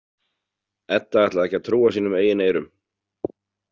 Edda ætlaði ekki að trúa sínum eigin eyrum.